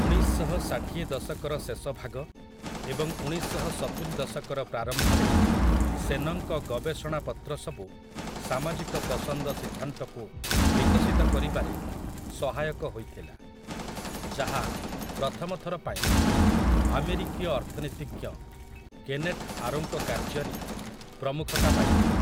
ଉଣେଇଶ ଶହ ଷାଠିଏ ଦଶକର ଶେଷଭାଗ ଏବଂ ଉଣେଇଶ ଶହ ସତୁରି ଦଶକର ପ୍ରାରମ୍ଭରେ ସେନଙ୍କ ଗବେଷଣାପତ୍ର ସବୁ ସାମାଜିକ ପସନ୍ଦ ସିଦ୍ଧାନ୍ତକୁ ବିକଶିତ କରିବାରେ ସହାୟକ ହୋଇଥିଲା, ଯାହା ପ୍ରଥମ ଥର ପାଇଁ ଆମେରିକୀୟ ଅର୍ଥନୀତିଜ୍ଞ କେନେଥ୍ ଆରୋଙ୍କ କାର୍ଯ୍ୟରେ ପ୍ରମୁଖତା ପାଇଥିଲା ।